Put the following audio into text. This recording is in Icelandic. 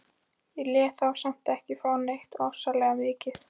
Ég lét þá samt ekki fá neitt ofsalega mikið.